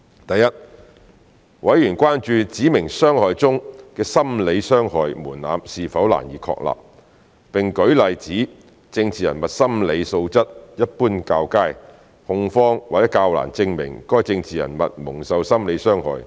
第一，委員關注"指明傷害"中的心理傷害門檻是否難以確立，並舉例指政治人物心理素質一般較佳，控方或較難證明該政治人物蒙受心理傷害。